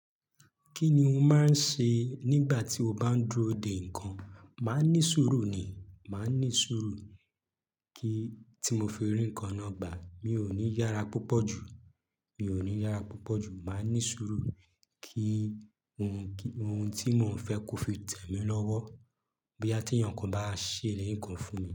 Kí ni ó máa ń ṣe nígbà tí o bá ń dúró de nǹkan? Máa ní sùúrù ni, màá ní sùúrù kí tí mo firi nǹkan nọgbàá, mi ò ní yára púpọ̀ jù, mi ò ní yára púpọ̀ jù. Màá ní sùúrù kí ohun, ohun tí mò ń fẹ́ kó fi tẹ̀ mí lọ́wọ́ bí yàti ìyàn kan bá ṣe ileri nǹkan fún mi.